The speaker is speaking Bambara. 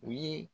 U ye